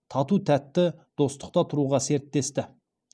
тату тәтті достықта тұруға серттесті